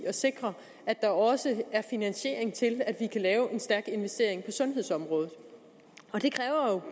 at sikre at der også er finansiering til at vi kan lave en stærk investering på sundhedsområdet det kræver